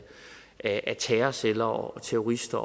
af terrorceller og terrorister